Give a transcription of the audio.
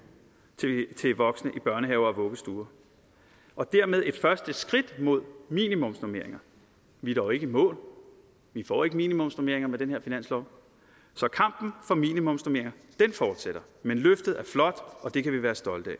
til voksne i børnehaver og vuggestuer og dermed et første skridt mod minimumsnormeringer vi er dog ikke i mål vi får ikke minimumsnormeringer med den her finanslov så kampen for minimumsnormeringer fortsætter men løftet er flot og det kan vi være stolte af